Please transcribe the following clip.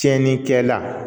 Tiɲɛnikɛla